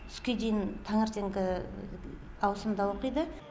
түскен дейін таңертеңгі ауысымда оқиды